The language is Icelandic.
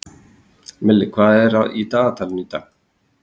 Milli, hvað er í dagatalinu í dag?